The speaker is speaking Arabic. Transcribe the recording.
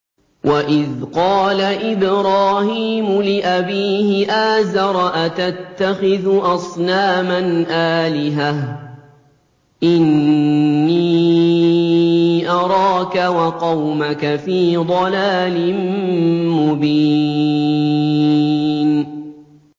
۞ وَإِذْ قَالَ إِبْرَاهِيمُ لِأَبِيهِ آزَرَ أَتَتَّخِذُ أَصْنَامًا آلِهَةً ۖ إِنِّي أَرَاكَ وَقَوْمَكَ فِي ضَلَالٍ مُّبِينٍ